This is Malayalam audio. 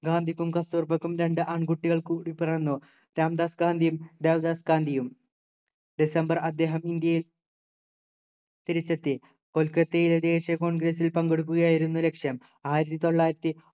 ഗാന്ധിക്കും കസ്തുർബക്കും രണ്ടു ആൺകുട്ടികൾ കൂടി പിറന്നു രാംദാസ് ഗാന്ധിയും ദേവദാസ് ഗാന്ധിയും ഡിസംബർ അദ്ദേഹം ഇന്ത്യയിൽ തിരിച്ചെത്തി കൊൽക്കത്തയിലെ ദേശീയ congress ൽ പങ്കെടുക്കുകയായിരുന്നു ലക്‌ഷ്യം ആയിരത്തി തൊള്ളായിരത്തി